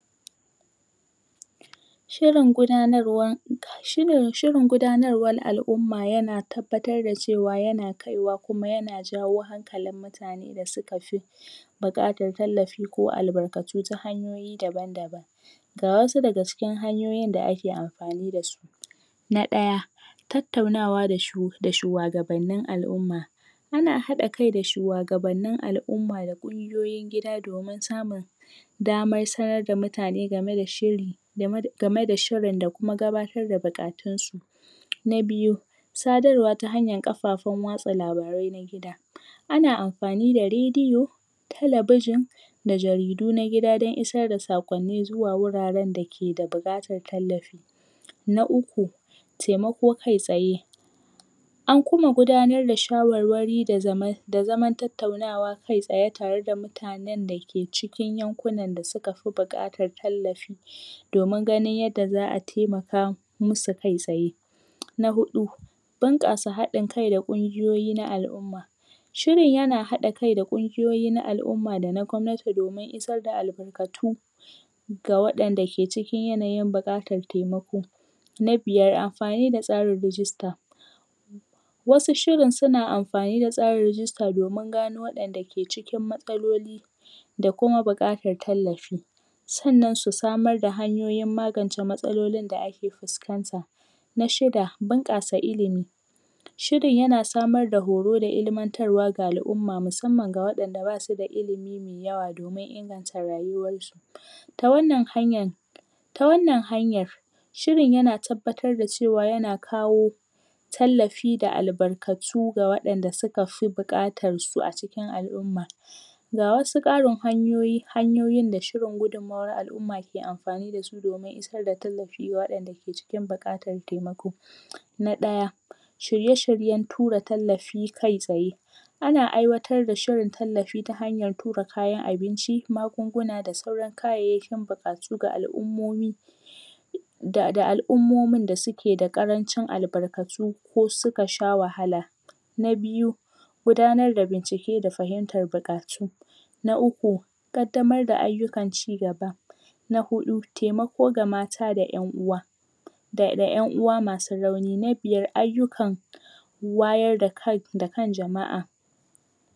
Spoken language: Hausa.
Shirin gudanarwa shirin gudanarwar al'umma yana tabbatar da cewa yana kaiwa kuma yana jawo hankalin mutane da suka fi buƙatar tallafi ko albarkatu ta hanyoyi daban-daban ga wasu daga cikin hanyoyin da ake amfani da su na ɗaya tattaunawa da shuwagabannin al'umma ana haɗa kai da shuwagabannin al'umma da ƙungiyoyin gida domin samun damar sanar da mutane game da shiri game da shirin da kuma gabatar da buƙatunsu na biyu sadarwa ta kafafen watsa labarai ana amfani da rediyo talabijin da jaridu na gida don isar da saƙonni zuwa wuraren da ke da buƙatar tallafi na uku temako kai-tsaye an kuma gudanar da shawarwari da zaman tattaunawa kai-tsaye tare da mutanen dake cikin yankunan da suka fi buƙatar tallafi domin ganin yadda za a taimaka musu kai-tsaye na huɗu bunƙasa haɗin-kai da ƙungiyoyi na al'umma shirin yana haɗa-kai da ƙungiyoyi na al'umma da na gwamnati domin isar da albarkatu ga waɗanda ke cikin yanayin buƙatar taimako na biyar amfani da tsarin rijista wasu shirin suna amfani da tsarin rijista domin gano waɗanda ke cikin matsaloli da kuma buƙatar tallafi sannan su samar da hanyoyin magance matsalonin da ake fuskanta na shida bunƙasa ilimi shirin yana samar da horo da ilmantarwa ga al'umma musamman ga waɗanda ba su da ilimi me yawa domin inganta rayuwarsu ta wannan hanyan ta wannan hanyar shirin yana tabbatar da cewa yana kawo tallafi da albarkatu ga waɗanda suka fi buƙatar su a cikin al'umma ga wasu ƙarin hanyoyi hanyoyin da shirin gudunmawar al'umma ke amfani da su domin isar da tallafi ga waɗanda ke cikin buƙatar taimako na ɗaya shirye-shiryen tura tallafi kai-tsaye ana aiwatar da shirin tallafi ta hanyar tura kayan abinci, magunguna da sauran kayayyakin buƙatu ga al'ummomi da al'ummomin da suke da ƙarancin albarkatu ko suka sha wahala na biyu gudanar da bincike da fahimtar buƙatu na uku ƙaddamar da ayyukan cigaba na huɗu temako ga mata da ƴan uwa da ƴan uwa masu rauni na biyar ayyukan wayar da kan jama'a